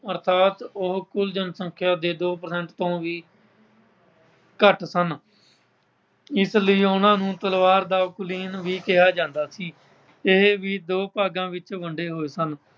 ਅਰਥਾਤ ਉਹ ਕੁੱਲ ਜਨਸੰਖਿਆ ਦੇ ਦੋ percent ਤੋਂ ਵੀ ਘੱਟ ਸਨ। ਇਸ ਲਈ ਉਨ੍ਹਾਂ ਨੂੰ ਦਾ ਕੁਲੀਨ ਵੀ ਕਿਹਾ ਜਾਂਦਾ ਸੀ। ਇਹ ਵੀ ਦੋ ਭਾਗਾਂ ਵਿੱਚ ਵੰਡੇ ਹੋਏ ਸਨ।